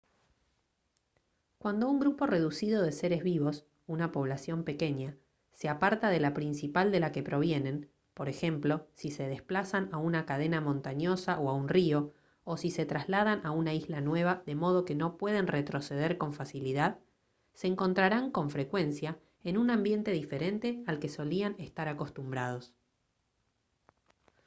cuando un grupo reducido de seres vivos una población pequeña se aparta de la principal de la que provienen por ejemplo si se desplazan a una cadena montañosa o a un río o si se trasladan a una isla nueva de modo que no pueden retroceder con facilidad se encontrarán con frecuencia en un ambiente diferente al que solían estar acostumbrados